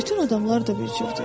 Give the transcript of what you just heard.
Bütün adamlar da bir cürdür.